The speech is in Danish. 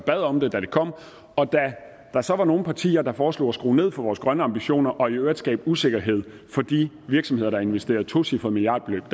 bad om det da det kom og da der så var nogle partier der foreslog at skrue ned for vores grønne ambitioner og i øvrigt skabe usikkerhed for de virksomheder der havde investeret et tocifret millionbeløb